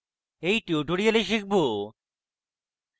in tutorial শিখব: